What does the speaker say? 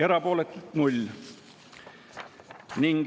Erapooletuid 0.